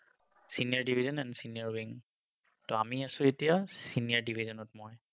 Senior division and senior wing, ত আমি আছো এতিয়া senior division ত মই।